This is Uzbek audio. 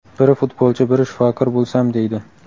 Biri futbolchi, biri shifokor bo‘lsam deydi.